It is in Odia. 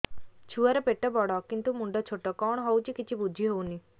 ଛୁଆର ପେଟବଡ଼ କିନ୍ତୁ ମୁଣ୍ଡ ଛୋଟ କଣ ହଉଚି କିଛି ଵୁଝିହୋଉନି